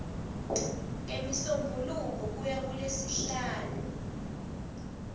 ngemisombuluko kuya kulesihlanu